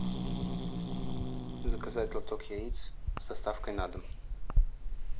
заказать лоток яиц с доставкой на дом